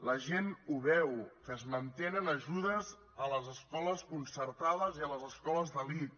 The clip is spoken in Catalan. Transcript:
la gent ho veu que es mantenen ajudes a les escoles concertades i a les escoles d’elit